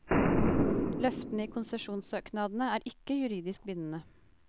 Løftene i konsesjonssøknadene er ikke juridisk bindende.